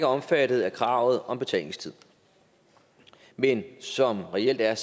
omfattet af kravet om betænkningstid men som reelt er